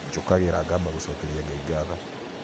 njũkagira ngaaba gũcokeria Ngai ngaatho